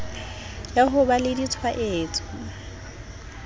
ya ho ba le ditshwaetso